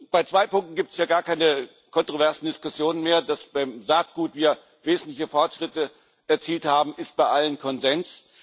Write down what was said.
Bei zwei Punkten gibt es hier gar keine kontroversen Diskussionen mehr Dass wir beim Saatgut wesentliche Fortschritte erzielt haben, ist bei allen Konsens.